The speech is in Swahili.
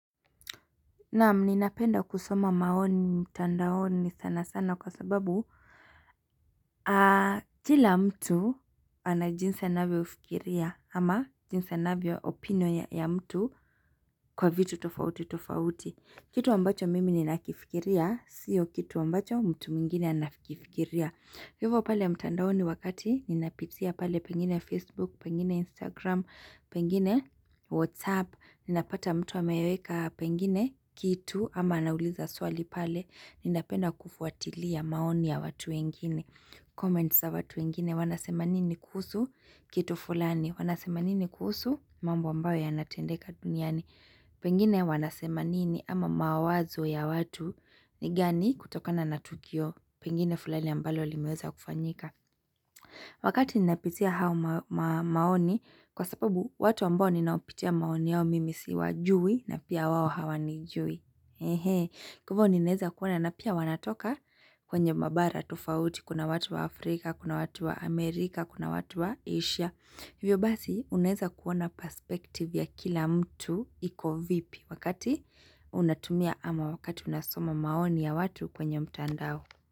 Naam mninapenda kusoma maoni mtandaoni sana sana kwa sababu Kila mtu anajinsi nawe ufikiria ama jinsi nawe opino ya mtu kwa vitu tofauti tofauti Kitu ambacho mimi ninakifikiria siyo kitu ambacho mtu mingine anafikifikiria hivo pale mtandaoni wakati ninapitia pale pengine Facebook, pengine Instagram, pengine WhatsApp Ninapata mtu ameweka pengine, kitu, ama nauliza swali pale, ninapenda kufuatilia maoni ya watu wengine. Comments ya watu wengine, wanasema nini kusu, kitu fulani, wanasema nini kusu, mambo ambayo ya natendeka duniani. Pengine wanasema nini, ama mawazo ya watu, ni gani kutokana natukio, pengine fulani ambayo limeweza kufanyika. Wakati ninapitia hao maoni kwa sababu watu ambao ninaopitia maoni yao mimi siwajui na pia wawo hawa ni jui. Kuhivyo ninaweza kuona na pia wanatoka kwenye mabara tufauti kuna watu wa Afrika, kuna watu wa Amerika, kuna watu wa Asia. Hivyo basi uneza kuona perspective ya kila mtu iko vipi wakati unatumia ama wakati unasoma maoni ya watu kwenye mtandao.